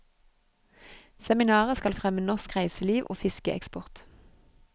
Seminaret skal fremme norsk reiseliv og fiskeeksport.